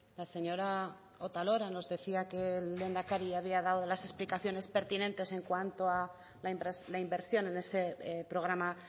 la señora otalora nos decía que el lehendakari había dado las explicaciones pertinentes en cuanto a la inversión en ese programa